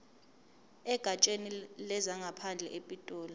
egatsheni lezangaphandle epitoli